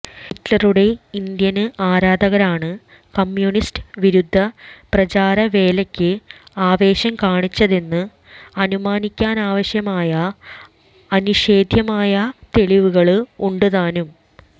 ഹിറ്റ്ലരുടെ Indian ആരാധകരാണ് communist വിരുദ്ധ പ്രചാരവേലക്ക് ആവേശം കാണിച്ചതെന്ന് അനുമാനിക്കാനാവശ്യമായ അനിഷേധ്യമായ തെളിവുകള് ഉണ്ട് താനും